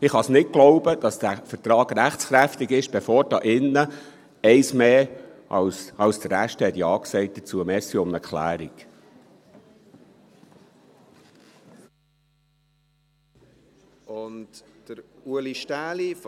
– Ich kann nicht glauben, dass der Vertrag rechtskräftig ist, bevor hier im Saal eins mehr als die Hälfte Ja dazu gesagt hat.